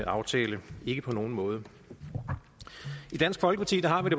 aftale ikke på nogen måde i dansk folkeparti har vi